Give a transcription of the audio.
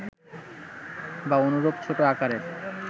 বা অনুরূপ ছোট আকারের